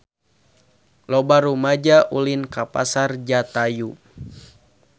Loba rumaja ulin ka Pasar Jatayu